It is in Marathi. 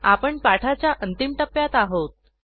आपण पाठाच्या अंतिम टप्प्यात आहोत